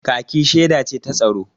kaki sheda ce ta tsaro